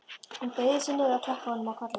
Hún beygði sig niður og klappaði honum á kollinn.